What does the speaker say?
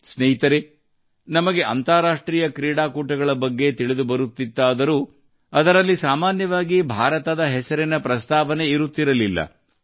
ಸ್ನೇಹಿತರೇ ನಮಗೆ ಅಂತಾರಾಷ್ಟ್ರೀಯ ಕ್ರೀಡಾಕೂಟಗಳ ಬಗ್ಗೆ ತಿಳಿದು ಬರುತ್ತಿತ್ತಾದರೂ ಅದರಲ್ಲಿ ಸಾಮಾನ್ಯವಾಗಿ ಭಾರತದ ಹೆಸರಿನ ಪ್ರಸ್ತಾವನೆ ಇರುತ್ತಿರಲಿಲ್ಲ